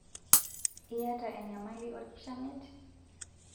Iyata enyamali olkishamiet?